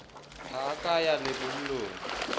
ha a ka ya lebollong